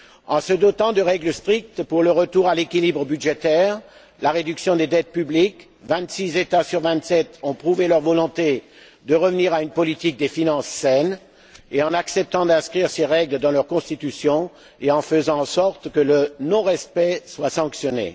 En se dotant de règles strictes pour le retour à l'équilibre budgétaire et la réduction des dettes publiques, vingt six États sur vingt sept ont prouvé leur volonté de revenir à une politique des finances saine, ainsi qu'en acceptant d'inscrire ces règles dans leur Constitution et en faisant en sorte que leur non respect soit sanctionné.